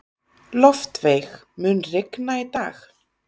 Loftveig, mun rigna í dag?